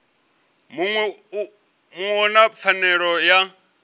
muṅwe u na pfanelo ya